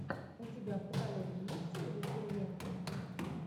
у тебя в каталоге есть ольга куриленко